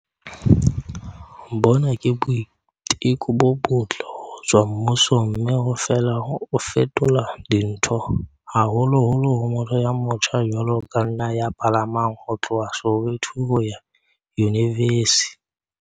Bona ke boiteko bo botle ho tswa mmusong mme o fela o fetola dintho, haholoholo ho motho ya motjha jwalo ka nna ya palamang ho tloha Soweto ho ya Yunivesi